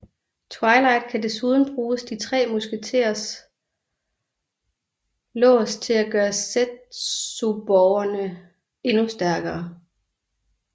Twilight kan desuden bruge de tre musketers lås til at gøre zetsuborgene endnu stærkere